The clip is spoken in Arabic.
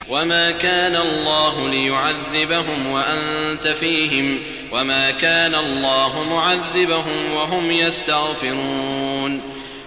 وَمَا كَانَ اللَّهُ لِيُعَذِّبَهُمْ وَأَنتَ فِيهِمْ ۚ وَمَا كَانَ اللَّهُ مُعَذِّبَهُمْ وَهُمْ يَسْتَغْفِرُونَ